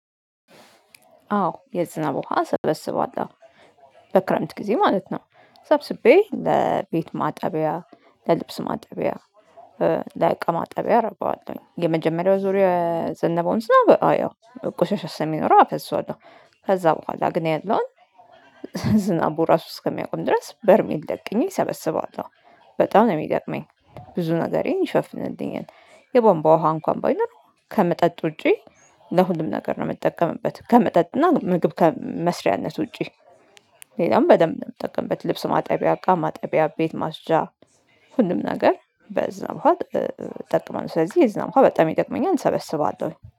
አዎ የዝናብ ውሃ ሰበስባለሁ በክረምት ጊዜ ማለት ነው። ሰብስቤ ለቤት ማጠቢያ ለልብስ ማጠቢያ ለእቃ ማጠቢያ አረገዋለሁኝ። የመጀመሪያው ዙሪያ የዘነበውን ዝናብ ያው ቆሻሻ ስለሚኖረው አፈሰዋለሁ። ከዛ በኋላ ግን ያለውን ዝናቡ ራሱ እስከሚያቆም ድረስ በርሜል ደቅኜ ሰበሰበዋለሁ። በጣም ነው የሚጠቅመኝ ብዙ ነገሬን ይሸፍንልኛል። የባንቧ ውሃ እንኳን ባይኖር ከመጠጥ ውጪ ለሁሉም ነገር ነው የምጠቀምበት ከመጠጥና እና ምግብ ከመስሪያነት ውጪ። ሌላም በደንብ ነው የምጠቀምበት ልብስ ማጠቢያ እቃ ማጠቢያ ቤት ማጽጃ ሁሉም ነገር በዛ ውሃ እጠቀማለሁ። ስለዚህ የዝናብ ውሃ በጣም ይጠቅመኛል እንሰበስባለሁኝ